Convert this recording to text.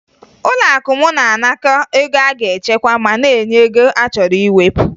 Ụlọakụ m na-anakọ ego a ga-echekwa ma na-enye ego a chọrọ iwepụ